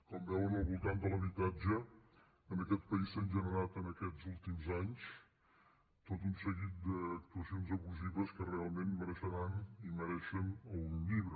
com veuen al voltant de l’habitatge en aquest pa·ís s’han generat en aquests últims anys tot un seguit d’actuacions abusives que realment mereixeran i me·reixen un llibre